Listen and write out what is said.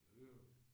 Jo jo